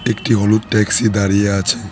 একটি হলুদ ট্যাক্সি দাঁড়িয়ে আছে।